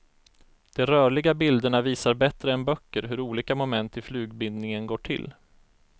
De rörliga bilderna visar bättre än böcker hur olika moment i flugbindningen går till.